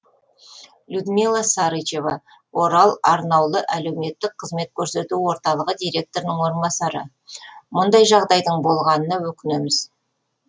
людмила сарычева орал арнаулы әлеуметтік қызмет көрсету орталығы директорының орынбасары мұндай жағдайдың болғанына өкінеміз